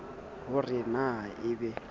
ho re na e be